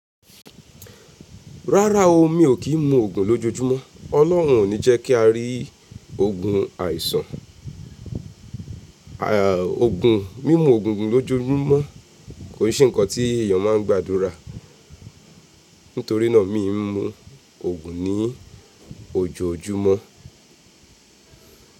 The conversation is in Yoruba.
Rárá o, mi ò kí ń mu ògùn lójojúmọ́. Ọlọ́run ò ní jẹ́ kí a rí ogun àìsàn. Ògùn, mímú ògùn lójoojúmọ́ kò n se ǹkan tí èyàn máa ń gbàdúrà. Nítorí náà, mi ò ń mu ògùn ní ojoojúmọ́.